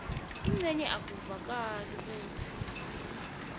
tincenye akuvakali kutsi